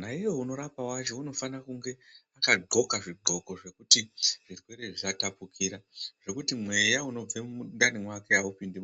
Naiye unorapa wacho unofana kunge akadxoka zvidxoko zvekuti zvirwere zvisatapukira zvekuti mweya unobva mundani mwake awupindi.